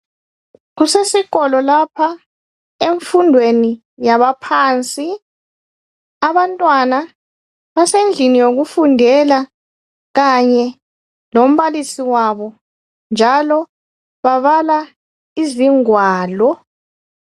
Kusesikolo lapha emfundweni yabaphansi. Abantwana basendlini yokufundela kanye lombalisi wabo. Njalo, babala izingwalo.